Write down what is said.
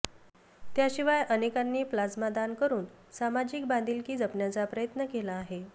त्याशिवाय अनेकांनी प्लाझ्मादान करुन सामाजिक बांधिलकी जपण्याचा प्रयत्न केला आहे